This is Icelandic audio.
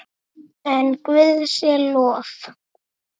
En Guði sé lof.